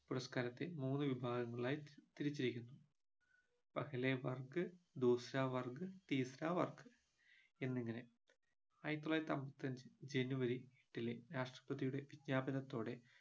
പുരസ്കാരത്തെ മൂന്ന് വിഭാഗങ്ങളായി തിർ തിരിച്ചിരിക്കുന്നു എന്നിങ്ങനെ ആയിരത്തിത്തൊള്ളായിരത്തി അമ്പത്തിഅഞ്ച് ജനുവരി എട്ടിലെ രാഷ്ട്രപതിയുടെ വിജ്ഞാപനത്തോടെ